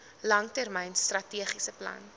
langtermyn strategiese plan